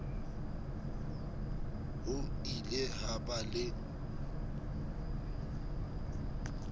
ho ile ha ba le